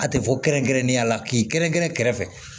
A tɛ fɔ kɛrɛnkɛrɛnnenya la k'i kɛrɛn kɛrɛn kɛrɛfɛ